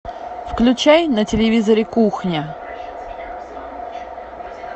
включай на телевизоре кухня